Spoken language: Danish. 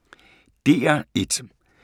DR1